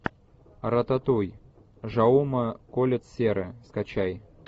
рататуй жауме кольет серра скачай